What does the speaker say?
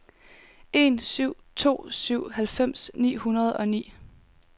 en syv to syv halvfems ni hundrede og ni